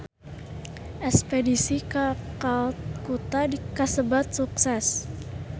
Espedisi ka Kalkuta kasebat sukses